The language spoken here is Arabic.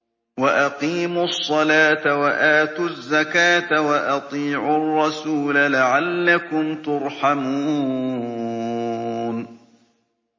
وَأَقِيمُوا الصَّلَاةَ وَآتُوا الزَّكَاةَ وَأَطِيعُوا الرَّسُولَ لَعَلَّكُمْ تُرْحَمُونَ